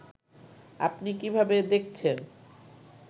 আপনি কিভাবে দেখছেন